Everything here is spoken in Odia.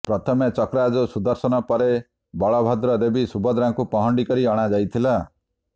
ପ୍ରଥମେ ଚକ୍ରରାଜ ସୁଦର୍ଶନ ପରେ ବଳଭଦ୍ର ଦେବୀ ସୁଭଦ୍ରାଙ୍କୁ ପହଣ୍ଡି କରି ଅଣାଯାଇଥିଲା